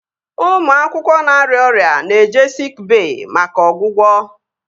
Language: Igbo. Ụmụ akwụkwọ na-arịa ọrịa na-eje siik bey maka ọgwụgwọ